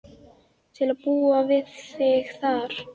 Til að búa við þig þar.